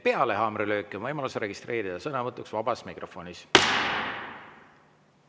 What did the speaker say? Peale haamrilööki on võimalus registreerida sõnavõtuks vabas mikrofonis.